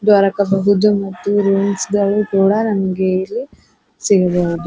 ದೊರಕಬಹುದು ಮತ್ತು ರೂಮ್ಸ್ ಗಳು ಕೂಡ ನಮಗೆ ಇಲ್ಲಿ ಸಿಗಬಹುದು.